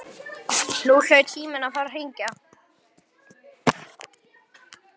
Nú hlaut síminn að fara að hringja.